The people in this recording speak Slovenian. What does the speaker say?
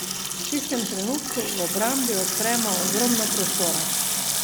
V tistem trenutku v obrambi odpremo ogromno prostora.